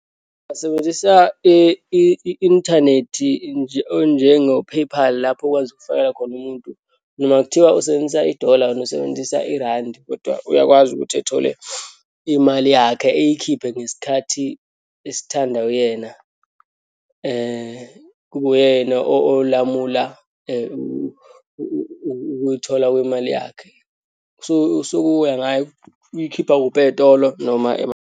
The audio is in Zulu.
Ngingasebenzisa i-inthanethi onjengo-PayPal, lapho okwazi ukufakela khona umuntu noma kuthiwa usebenzisa idola, wena usebenzisa irandi, kodwa uyakwazi ukuthi ethole imali yakhe, eyikhiphe ngesikhathi esithandwa uyena, kube uyena olamula ukuyithola kwemali yakhe. So, sokuya ngaye ukuthi uyikhipha kuphi eyitolo noma .